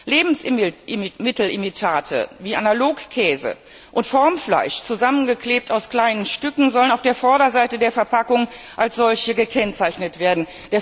Lebensmittelimitate wie Analogkäse und Formfleisch, zusammengeklebt aus kleinen Stücken, sollen auf der Vorderseite der Verpackung als solche gekennzeichnet werden.